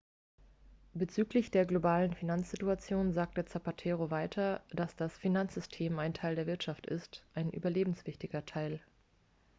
bezüglich der globalen finanzsituation sagte zapatero weiter dass das finanzsystem ein teil der wirtschaft ist ein überlebenswichtiger teil